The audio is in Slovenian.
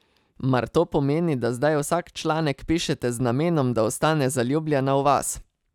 Mar to pomeni, da zdaj vsak članek pišete z namenom, da ostane zaljubljena v vas?